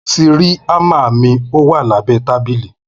Mo tírì àmá mi, òwá làbẹ tàbílì.